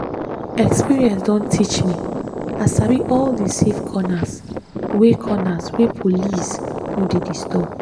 experience don teach me i sabi all the safe corners wey corners wey police no dey disturb.